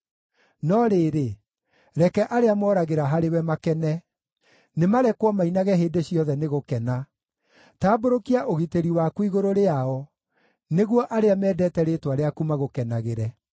No rĩrĩ, reke arĩa moragĩra harĩwe makene; nĩmarekwo mainage hĩndĩ ciothe nĩ gũkena. Tambũrũkia ũgitĩri waku igũrũ rĩao, nĩguo arĩa mendete rĩĩtwa rĩaku magũkenagĩre.